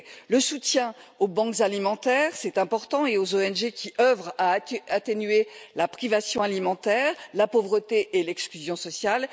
le soutien aux banques alimentaires c'est important et aux ONG qui œuvrent à atténuer la privation alimentaire, la pauvreté et l'exclusion sociale